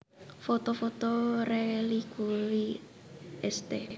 Foto foto rélikui St